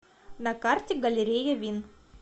на карте галерея вин